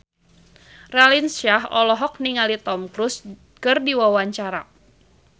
Raline Shah olohok ningali Tom Cruise keur diwawancara